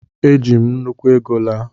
Eji m nnukwu ego laa